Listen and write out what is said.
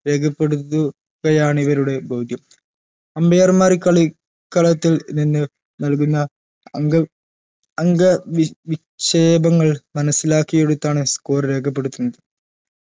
രേഖപ്പെടുത്തുകയാണ് ഇവരുടെ ധൗത്യം umpire മാർ ഈ കാളി കളത്തിൽ നിന്ന് നൽകുന്ന അങ്ക അംഗവിക്ഷേപങ്ങൾ മനസിലാക്കിയിടത്താണ് score രേഖപ്പെടുത്തുന്നത്